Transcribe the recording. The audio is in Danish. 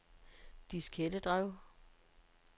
diskettedrev